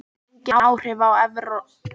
Engin áhrif á evrópska flugumferð